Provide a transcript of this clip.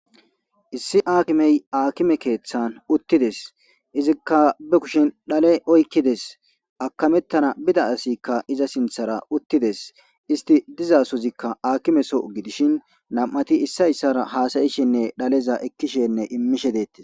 Issi akkimey akime kethan utides, izika be kushen shale oykides, akametana bida asatika iza sinthara utides, istika diza soyka akime Soho gidishn nam'ati issa issara hasa'ishenne dhaleza ekishenne imishe detes